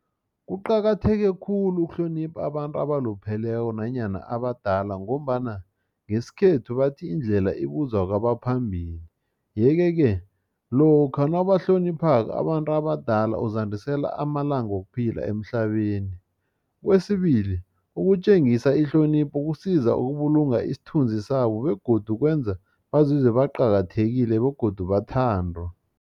Kuqakatheke khulu ukuhlonipha abantu abalupheleko nanyana abadala ngombana ngesikhethu bathi indlela ibuzwa kwabaphambili yeke-ke lokha nawubahlonipha abantu abadala uzandisela amalanga wokuphila emhlabeni. Kwesibili ukutjengisa ihlonipho kusiza ukubulunga isithunzi sabo begodu kwenza bazizwe baqakathekile begodu bathandwa.